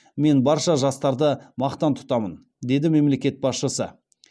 мен барша жастарды мақтан тұтамын деді мемлекет басшысы